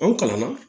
An kalanna